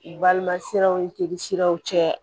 U balima siraw ni jeli siraw cɛ